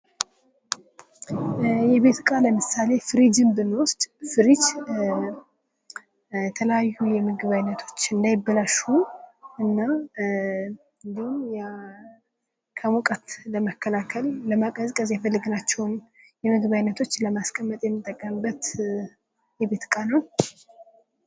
የቤት ዕቃ ለምሳሌ ፍርጅን ብንወስድ ፍሪጅ የተለያዩ የምግብ አይነቶች እንዳይበላሹ እና እንዲሁም ከሙቀት ለመከላከል ለማቀዝቀዝ የፈለግናቸውን የምግብ አይነቶች ለማስቀመጥ የሚጠቀምበት የቤት ዕቃ ነው::